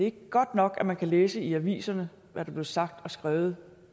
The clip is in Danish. ikke godt nok at man kan læse i aviserne hvad der blev sagt og skrevet